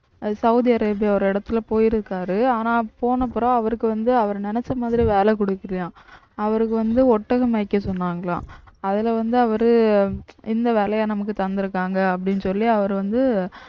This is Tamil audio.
சவுதி அரேபியா ஒரு இடத்துல போயிருக்காரு ஆனா போனப்புறம் அவருக்கு வந்து அவர் நினைச்ச மாதிரி வேலை கொடுக்கலையாம் அவருக்கு வந்து ஒட்டகம் மேய்க்க சொன்னாங்களாம் அதுல வந்து அவரு இந்த வேலையை நமக்கு தந்திருக்காங்க அப்படின்னு சொல்லி அவரு வந்து